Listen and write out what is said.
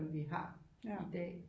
Vi har i dag